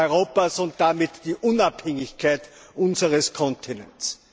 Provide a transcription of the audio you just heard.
Europas und damit die Unabhängigkeit unseres Kontinents.